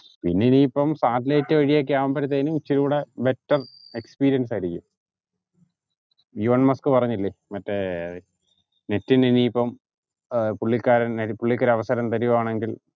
പിന്നെ ഇനിയിപ്പോ satellite വഴിയൊക്കെ ആവുമ്പോഴേക്കും ഇച്ചിരിയോടെ better experience ആയിരിക്കും എലോൺ മസ്ക് പറഞ്ഞില്ലേ മറ്റേ net ഇന് ഇനിയിപ്പോ പുള്ളിക്കാരൻ പുള്ളിക്ക് ഒരു അവസരം തരുവാണെങ്കിൽ